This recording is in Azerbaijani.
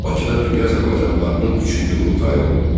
Bakıda dünya azərbaycanlılarının üçüncü qurultayı oldu.